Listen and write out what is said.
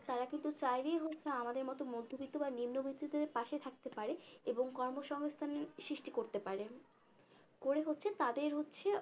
তারা কিন্তু চাইলেই হচ্ছে আমাদের মতো মধ্যবিত্ত বা নিম্নবিত্তদের পাশে থাকতে পারে এবং কর্মসংস্থানের সৃষ্টি করতে পারে করে হচ্ছে তাদের হচ্ছে